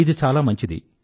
ఇది చాలా మంచిది